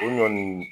O ɲɔn nin